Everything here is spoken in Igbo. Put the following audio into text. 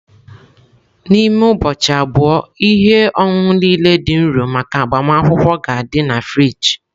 N'ime ụbọchị abụọ, ihe ọṅụṅụ niile dị nro maka agbamakwụkwọ ga-adị na friji.